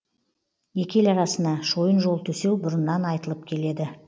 екі ел арасына шойын жол төсеу бұрыннан айтылып келеді